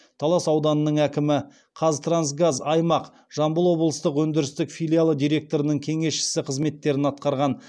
талас ауданының әкімі қазтрансгаз аймақ жамбыл облыстық өндірістік филиалы директорының кеңесшісі қызметтерін атқарған